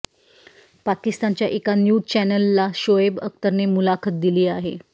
पाकिस्तानच्या एका न्यूज चॅनेलला शोएब अख्तरने मुलाखत दिली आहे